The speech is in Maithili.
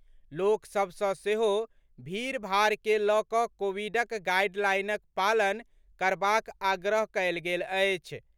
लोक सभसँ सेहो भीड़भाड़ के लऽ कऽ कोविडक गाइडलाइनक पालन करबाक आग्रह कयल गेल अछि।